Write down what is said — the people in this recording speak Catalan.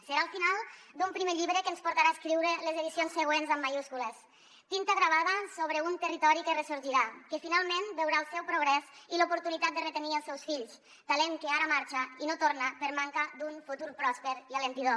serà el final d’un primer llibre que ens portarà a escriure les edicions següents amb majúscules tinta gravada sobre un territori que ressorgirà que finalment veurà el seu progrés i l’oportunitat de retenir els seus fills talent que ara marxa i no torna per manca d’un futur pròsper i encoratjador